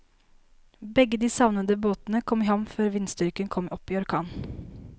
Begge de savnede båtene kom i havn før vindstyrken kom opp i orkan.